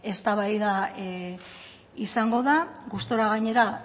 eztabaida izango da gustura gainera